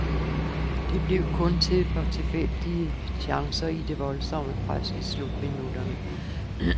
Det blev kun til et par tilfældige chancer i det voldsomme pres i slutminutterne.